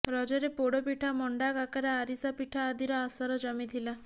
ରଜରେ ପୋଡପିଡ଼ା ମଣ୍ଡା କାକରା ଆରିସା ପିଠା ଆଦିର ଆସର ଜମିଥିଲା